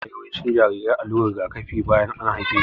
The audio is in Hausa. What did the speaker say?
Ana yiwa yawancin jarirai allurar rigakafi bayan an haife su